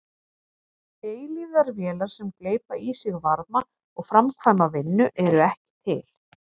Eilífðarvélar sem gleypa í sig varma og framkvæma vinnu eru ekki til.